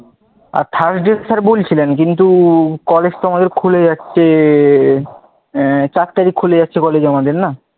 Third এর বলছিনা কিন্তু কলেজ তো খুলে যাচ্ছে তো কলেজ আমাদের খুলে যাচ্ছে আহ চার তারিখ খুলে যাচ্ছে কলেজ আমাদের না,